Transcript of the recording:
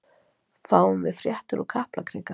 Fáum við fréttir úr Kaplakrika?